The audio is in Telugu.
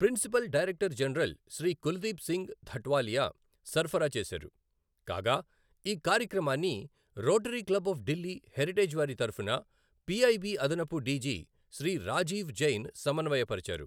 Principal director general Shri Kuldeep Singh Dhatwalia సరఫరా చేసారు, కాగా ఈ కార్యక్రమాన్ని Rotary Club of Delhi Heritage వారి తరఫున పిఐబి అదనపు డిజి శ్రీ రాజీవ్ జైన్ సమన్వయపరచారు.